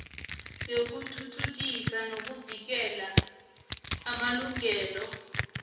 yokuthuthukisa nokuvikela amalungelo